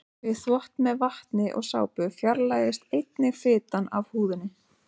Við þvott með vatni og sápu fjarlægist einnig fitan af húðinni.